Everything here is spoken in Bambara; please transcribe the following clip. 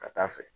Ka taa fɛ